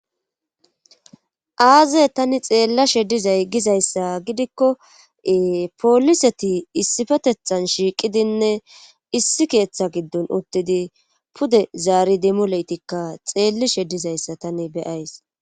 Aaze tani xeella she dizay gizayssa gidikko pooliseti issifetethan shiiqidinne issi keeththa giddon uttidi pude zaari dimoleytikka xeellishe dizayssa tani beyays